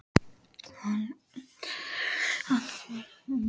Hann var einstakur öndvegismaður í allri viðkynningu.